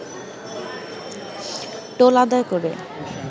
toll আদায় করে